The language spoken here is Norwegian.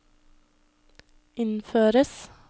innføres